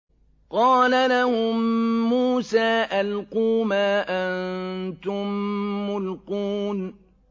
قَالَ لَهُم مُّوسَىٰ أَلْقُوا مَا أَنتُم مُّلْقُونَ